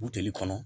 Buteli kɔnɔ